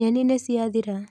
Nyeni nĩciathira.